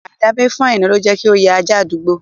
Aidabe fún Aina ló jẹ́ kí ó ya ajá àdúgbò